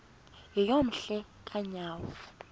yeyom hle kanyawo